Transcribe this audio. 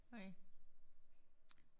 Okay